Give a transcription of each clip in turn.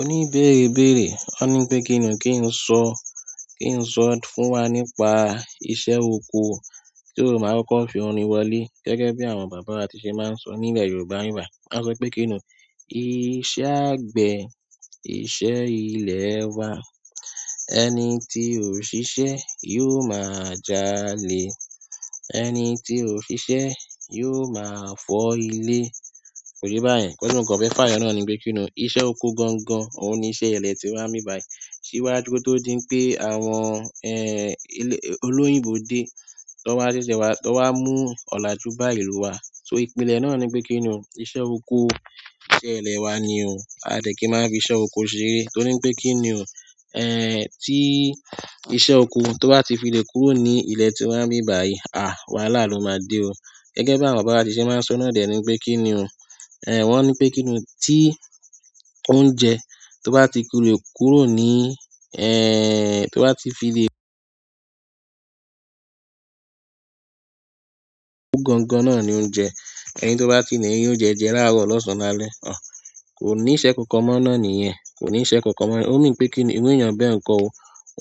O ní béèrè béèrè. Ó ní pé kíni, kí n sọ, kí n sọ fún wa nípa iṣẹ́ oko so máa kóko fi orin wọlé. Gẹ́gẹ́ bí àwọn bàbá wa ti ṣe máa ń sọ nílẹ̀ Yorùbá nibi báyìí. Wọ́n sọ pé kí ni iṣẹ́ àgbẹ̀, iṣẹ́ ilẹ̀ wa. Ẹni tí ò ṣiṣẹ́ yóò máa jalè. Ẹni tí ò ṣiṣẹ́ yóò máa fọ́ ilé. Ko ye yin bayen nkan ti mo kan fe fayo náà ni pe kini iṣẹ́ oko gangan oun ni iṣẹ́ ile tiwa nibi báyìí síwájú kí ó tó di pé àwọn, olóyìnbó dé, tó wá ṣẹ̀ṣẹ̀ wá, tó wá mú ọ̀làjú bá ìlú wa. So ìpìlẹ̀ náà ni wípé kíni iṣẹ́ oko, iṣẹ́ ilẹ̀ wa ni o. A dẹ̀ kí n máa fi iṣẹ́ oko ṣeré. Torí wipé kí ni o, tí iṣẹ́ oko tó bá ti filé kúrò ní ilẹ̀ tí wá nibí báyìí, wáhalà ló máa dé o. Gẹ́gẹ́ bí àwọn bàbá wa ti ṣe máa ń sọ náà dẹ̀ ni wípé kí ni o. Wọ́n ní pé kí ni o tí oúnjẹ tó bá ti kúrò ní, tó bá ti filé gangan náà ni oúnjẹ. Ẹni tó bá ti len rì oúnjẹ jẹ láàárọ̀ lọ́sàn lálẹ́, kò ní iṣẹ́ kankan mọ́ náà níyẹn. Kò ní iṣẹ́ kankan mọ́. Ó mean pé kíni ìru èèyàn bẹ́ẹ̀ nǹko o,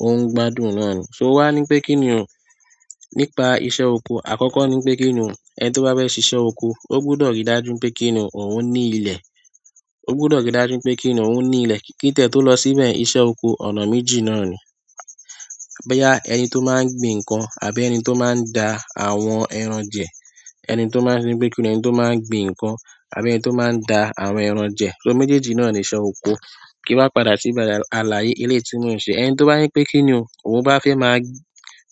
óuń gbádùn náà ni. So wà ní pé kíni o nípa iṣẹ́ oko. Àkọ́kọ́ ní pé kíni o, ẹni tó bá fẹ́ ṣe iṣẹ́ oko, ó gbọdọ̀ rí dájú pé kíni o, òun ní ilẹ̀. Ó gbọdọ̀ rí dájú pé kí ni o, òun ní ilẹ̀. Kí tẹ̀ tó lọ síbẹ̀, iṣẹ́ oko ọ̀nà méjì náà ni. Boya ẹni tó máa ń gbin nǹkan àbí ẹni tó máa ń da àwọn ẹran jẹ. Ẹni to maa n ri pe kini, ẹni to maa n gbin nkan àbí ẹni to maa da ẹran je kí wa padà sí ibere alaye eleyi tí mo ń ṣe. Ẹni tó báje pé kíni o, òun bá fẹ́ máa,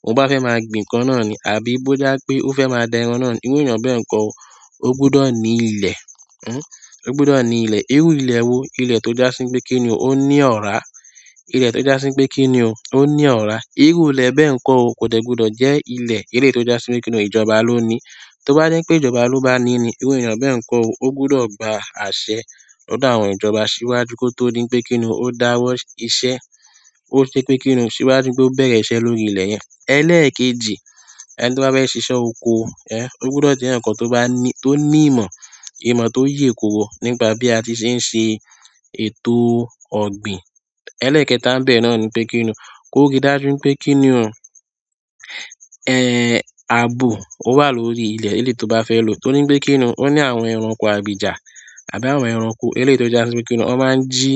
òun bá fẹ́ máa gbin nǹkan náà ni àbí bó je pé ó fẹ́ máa da ẹran náà ni, ìru èèyàn bẹ́ẹ̀ nǹko, ó gbọdọ̀ ní ilẹ̀. O gbọdọ̀ ní ilẹ̀. Iru ilẹ̀ wo? Ilẹ̀ tó já sí wípé kíni o, ó ní ọ̀rá. Ilẹ̀ tó já sí wípé kí ni o, ó ní ọ̀rá. Iru ilẹ̀ bẹ́ẹ̀ nǹko o, kò tiẹ́ gbọdọ̀ jẹ́ ilẹ̀ eléyii to já sí wípé kí ni ìjọba ló ní. Tó bá jé n pé ìjọba ló bá ní ni, ìru èèyàn bẹ́ẹ̀ nǹko o, ó gbọdọ̀ gba àṣẹ lọ́dọ̀ àwọn ìjọba síwájú kí ó tó di n pé kíni o dáwọ́ iṣẹ́. Ó ṣe pé kíni o síwájú pe ó bẹ̀rẹ̀ iṣẹ́ lórí ilẹ̀ yẹn. Ẹlẹ́ẹ̀kejì, ẹni tó bá fẹ́ ṣe iṣẹ́ oko, ó gbọdọ̀ jẹ́ eeyan kan tó bá ní, tó ní ìmọ̀, ìmọ̀ tó yè, nípa bí a ti ṣe ń ṣe ètò ọ̀gbìn. Ẹlẹ́ẹ̀kẹta nibẹ́ẹ̀ náà ni pé kíni o, kó rí dájú pé kíni o, àbò ó wà lórí ilẹ̀ eléyii to bá fẹ́ lò. Torí pé kíni o ní àwọn ẹranko abìjà àbí àwọn ẹranko eléyii to já sí wípé kíni o, won máa ń jí,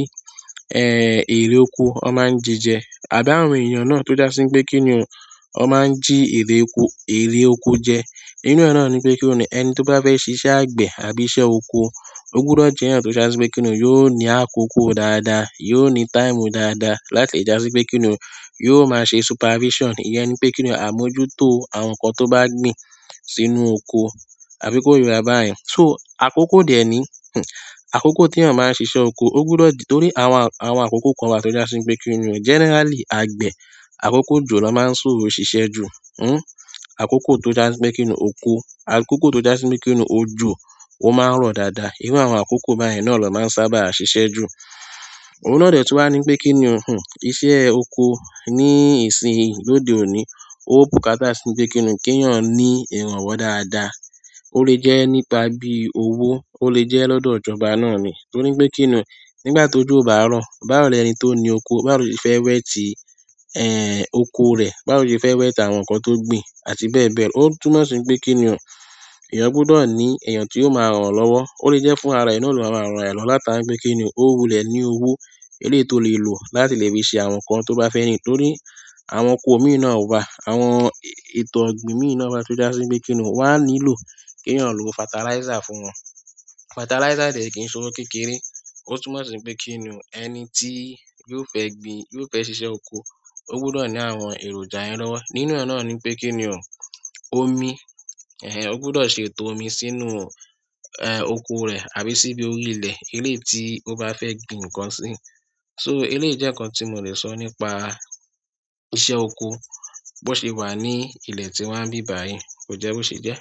ère oko, ó máa ń ji jẹ. Àbí àwọn eeyan náà, to jásí wípé kini, won maa ji ere oko je. Inú e náà ni wípé kíni o, ẹni tó bá fẹ́ ṣe iṣẹ́ àgbẹ̀ àbí iṣẹ́ oko, ó gbọdọ̀ jẹ́ eeyan tó já sí wípé kí ni o yóò ní àkókò dáadáa, yóò ní time dáadáa láti já sí wípé kí ni o yóò máa ṣe supervision. Iyẹn ni wípé kíni o, àmójútó àwọn nǹkan tó bá gbin sínú oko. Àbí kóye wa báyen. So àkókò dè ni, àkókò tí èèyàn máa ń ṣe iṣẹ́ oko ó gbọdọ̀ dì. Torí àwọn, àwọn àkókò kan wà tó já sí wípé kíni o generally àgbẹ̀ àkókò òjò ló máa ń sò ṣiṣẹ́ jù. Àkókò tó já sí wípé kíni o oko, àkókò tó já sí wípé kíni o, òjò ó máa ń rọ̀ dáadáa. Irù àwọn àkókò báyen náà ni won máa ń sábà ṣiṣẹ́ jù. Òun náà dè tí wà ní pé kíni o, ìṣe oko ní ìsìn lóde òní ó bùkátá sí wípé kí ni kí èèyàn ní ìrànwọ́ dáadáa. Ó lè jẹ́ nípa bí owó, ó lè jẹ́ lọ́dọ̀ ìjọba náà ni. Torí pé kí ni nígbà tó jó o bá rọ̀, báwo ẹni tó ní oko, bá rọ̀ ṣe fẹ́ wet oko rẹ, báwo lo ṣe fẹ́ wet àwọn nǹkan tó gbin àti bẹ́ẹ̀ bẹ́ẹ̀ lọ. Ó túmọ̀ sí pé kíni o, èèyàn gbọdọ̀ ní èèyàn tí yoó máa ràn án lọ́wọ́. Ó lè jẹ́ fún ara ẹ náà ló máa ń ran araẹ lọwo látara wípé kí ni o wulẹ̀ ní owó eléyii to lè lò láti lè fi ṣe àwọn nǹkan tó bá fẹ́. Torí àwọn oko mii náà wa, àwọn ètò ogbin mii náà wa toja si pe kini won a nílò ki eeyan lo fertilizer fún won fertiliser o dẹ́ kí n sowó kékeré. Ó túmọ̀ sí pé kíni o ẹni tí yóò fẹ́ gbin, yóò fẹ́ ṣe iṣẹ́ oko, ó gbọdọ̀ ní àwọn èròjà yen lọ́wọ́. Nínú e náà ni wípé kí ni o omi, ó gbọdọ̀ ṣe ètò omi sínú, oko rẹ̀ àbí síbi orí ilẹ̀ eléyii ti o bá fẹ́ gbin nǹkan sí. So eléyìí jẹ́ nǹkan tí mò lè sọ nípa iṣẹ́ oko bó ṣe wà ní ilẹ̀ tíwa nibí báyìí, kòjẹ́ bóṣe jẹ́.